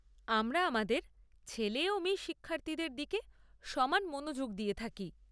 আমরা আমাদের ছেলে ও মেয়ে শিক্ষার্থীদের দিকে সমান মনোযোগ দিয়ে থাকি।